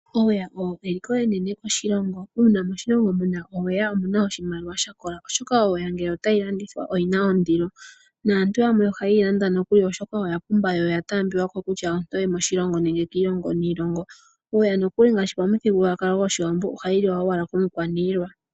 Oweya eliko enene koshilongo. Uuna moshilongo muna oweya omuna oshimaliwa sha kola oshoka oweya ngele otayi landithwa oyina ondilo. Aantu yamwe ohaye yilanda oshoka oya pumba yo oyataambiwako moshilongo nenge kiilongo niilongo. Oweya nokuli ngaashi pamuthigululwakalo gwAawambo ohayi liwa owala komukwaniilwa.